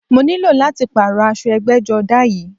Mo ní lò láti pààrọ̀ aṣọ ẹgbẹ́jọdá yìí